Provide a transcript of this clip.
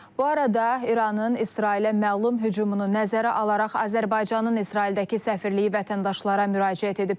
Bu arada İranın İsrailə məlum hücumunu nəzərə alaraq Azərbaycanın İsraildəki səfirliyi vətəndaşlara müraciət edib.